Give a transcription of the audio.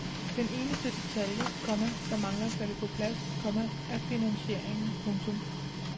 Den eneste detalje, komma der mangler at falde på plads, komma er finansieringen. punktum